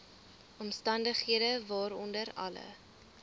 omstandighede waaronder alle